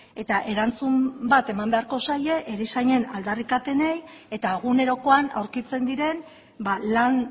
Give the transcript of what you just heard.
eta erantzun bat eman beharko zaie erizainen aldarrikapenei eta egunerokoan aurkitzen diren lan